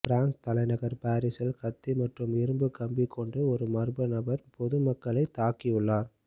France தலைநகர் பாரீஸில் கத்தி மற்றும் இரும்புக் கம்பி கொண்டும் ஒரு மர்ம நபர் பொது மக்களைத் தாக்கியுள்ளார்